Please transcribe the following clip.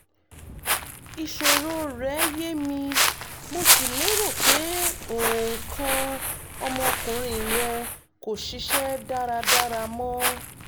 ìṣòro rẹ́ yé mi mo sì lérò pé nǹkan ọmọkùnrin rẹ kò ṣiṣẹ́ dáradára mọ́